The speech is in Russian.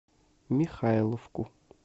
михайловку